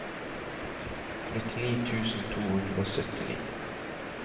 nittini tusen to hundre og syttini